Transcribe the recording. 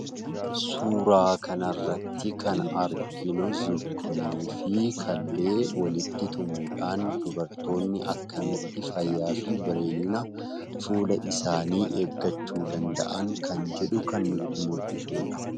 Suuraa kanarratti kan arginu Zukunii fi killee walitti tumuudhaan dubartoonni akkamitti fayyaa fi bareedina fuula isaanii eeggachuu danda'an kan jedhu kan nutti mul'isuudha.